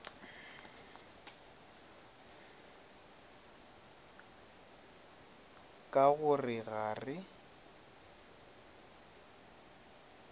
ka go re ga re